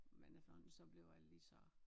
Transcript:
Men efterhånden så blev lige så